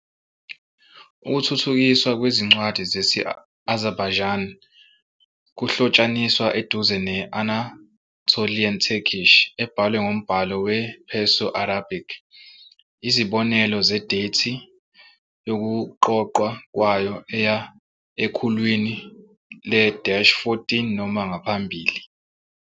Ukuthuthukiswa kwezincwadi zesi-Azerbaijani kuhlotshaniswa eduze ne-Anatolian Turkish, ebhalwe ngombhalo we-Perso-Arabic. Izibonelo zedethi yokuqoqwa kwayo eya ekhulwini le-14 noma ngaphambili.